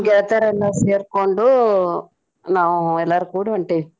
ಗೆಳತೆರೆಲ್ಲಾ ಸೆರ್ಕೊಂಡು ನಾವ್ ಎಲ್ಲಾರು ಕೂಡಿ ಹೊಂಟೇವಿ.